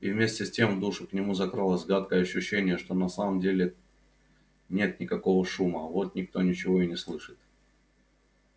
и вместе с тем в душу к нему закралось гадкое ощущение что на самом-то деле нет никакого шума вот никто ничего и не слышит